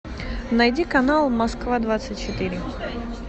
найди канал москва двадцать четыре